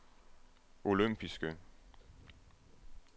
olympiske